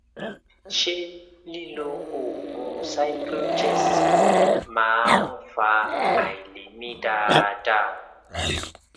ṣé lílo oògùn cyclogest máa ń fa àìlè mí dáadáa